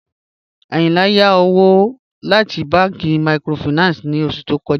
Ayìnlá yá òwò láti bànki míkrófáìnánsì ní ọṣù tó kọ̀já